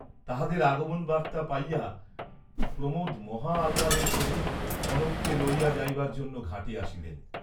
তাঁহাদের আগমন বার্ত্তা পাইয়া প্রমোদ মহা আহ্লাদের সহিত কনককে লইয়া যাইবার জন্য ঘাটে আসিলেন।